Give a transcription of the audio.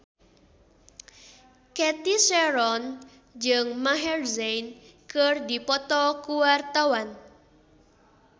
Cathy Sharon jeung Maher Zein keur dipoto ku wartawan